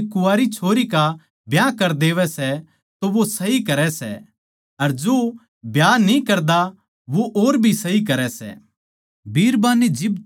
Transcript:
ज्यांतै जो अपणी कुवारी छोरी का ब्याह कर देवै सै तो वो सही करै सै अर जो ब्याह न्ही कर देंदा वो और भी सही करै सै